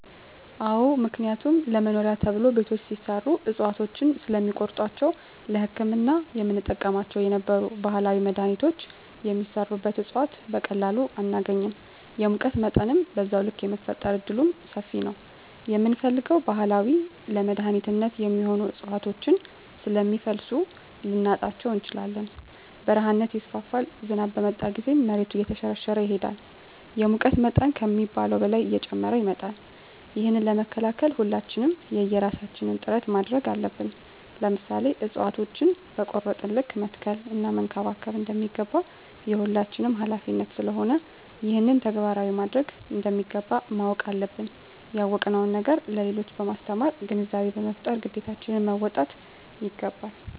አዎ ምክንያቱም ለመኖሪያ ተብሎ ቤቶች ሲሰሩ እፅዋቶችን ስለሚቆርጧቸዉ ለህክምና የምንጠቀምባቸው የነበሩ ባህላዊ መድሀኒቶች የሚሰሩበት እፅዋት በቀላሉ አናገኝም የሙቀት መጠንም በዛዉ ልክ የመፈጠር እድሉምሰፊ ነዉ የምንፈልገዉን ባህላዊ ለመድኃኒትነት የሚሆኑ እፅዋቶችን ስለሚፈልሱ ልናጣቸዉ እንችላለን በረሀነት ይስፋፋል ዝናብ በመጣ ጊዜም መሬቱ እየተሸረሸረ ይሄዳል የሙቀት መጠን ከሚባለዉ በላይ እየጨመረ ይመጣል ይህንን ለመከላከል ሁላችንም የየራሳችን ጥረት ማድረግ አለብን ለምሳሌ እፅዋቶችን በቆረጥን ልክ መትከል እና መንከባከብ እንደሚገባ የሁላችንም ሀላፊነት ስለሆነ ይህንን ተግባራዊ ማድረግ እንደሚገባ ማወቅ አለብን ያወቅነዉን ነገር ለሌሎች በማስተማር ግንዛቤ በመፍጠር ግዴታችን መወጣት ይገባል